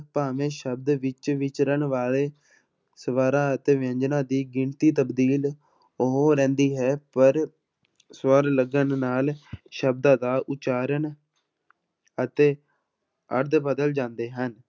ਭਾਵੇਂ ਸ਼ਬਦ ਵਿੱਚ ਵਿਚਰਨ ਵਾਲੇ ਸਵਰਾਂ ਅਤੇ ਵਿਅੰਜਨਾਂ ਦੀ ਗਿਣਤੀ ਤਬਦੀਲ ਹੋ ਰਹਿੰਦੀ ਹੈ ਪਰ ਸਵਰ ਲੱਗਣ ਨਾਲ ਸ਼ਬਦਾਂ ਦਾ ਉਚਾਰਨ ਅਤੇ ਅਰਥ ਬਦਲ ਜਾਂਦੇ ਹਨ।